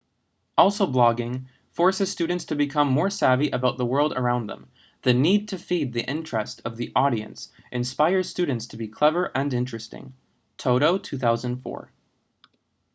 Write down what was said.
also blogging forces students to become more savvy about the world around them. the need to feed the interest of the audience inspires students to be clever and interesting toto 2004